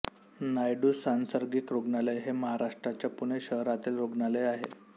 नायडू सांसर्गिक रुग्णालय हे महाराष्ट्राच्या पुणे शहरातील रुग्णालय आहे